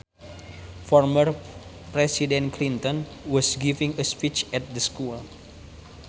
Former president Clinton was giving a speech at the school